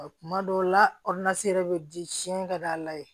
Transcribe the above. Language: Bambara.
Kuma dɔw la yɛrɛ bɛ di sini ka d'a la yen